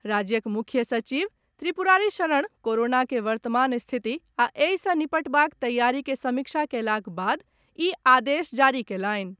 राज्यक मुख्य सचिव त्रिपुरारी शरण कोरोना के वर्तमान स्थिति आ एहि सँ निपटबाक तैयारी के समीक्षा कयलाक बाद ई आदेश जारी कयलनि।